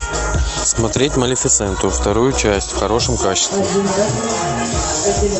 смотреть малифисенту вторую часть в хорошем качестве